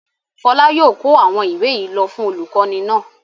Fọlá yóò kó àwọn ìwé yìí lọ fún olùkọ́ní náà.